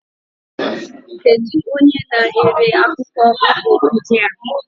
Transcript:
Kedu onye na-ere akwụkwọ ụgụ ndị a?